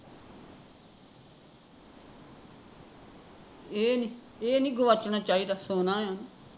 ਇਹ ਇਹਨੀਂ ਗੁਆਚਣਾ ਚਾਹੀਦਾ ਸੋਨਾ ਆ